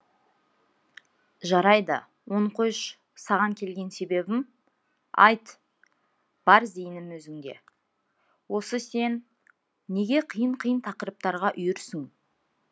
жарайды оны қойшы саған келген себебім айт бар зейінім өзіңде осы сен неге қиын қиын тақырыптарға үйірсің